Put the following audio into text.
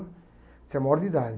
Você é maior de idade.